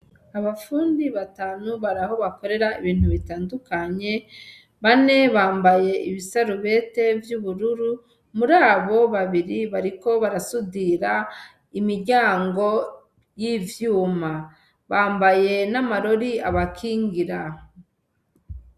Abafundi batanu baraho bakorera ibintu bitadukanye, bane bambaye ibisarubeti vy'ubururu murabo babiri bariko barasudira imiryango y'ivyuma, bambaye n'amarori abakigira.